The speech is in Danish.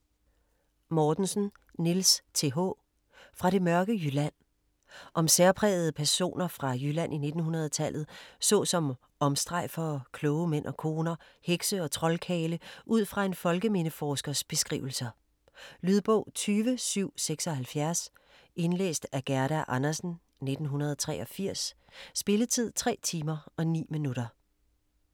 Mortensen, Niels Th.: Fra det mørke Jylland Om særprægede personer fra Jylland i 1900-tallet såsom omstrejfere, kloge mænd og koner, hekse og troldkarle udfra en folkemindeforskers beskrivelser. Lydbog 20776 Indlæst af Gerda Andersen, 1983. Spilletid: 3 timer, 9 minutter.